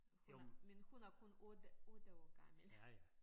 Hun er men hun er kun 8 8 år gammel